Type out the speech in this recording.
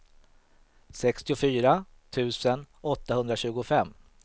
sextiofyra tusen åttahundratjugofem